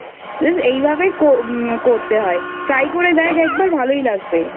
just এই ভাবেই করতে হয় try করে দেখ একবার ভালোই লাগবে।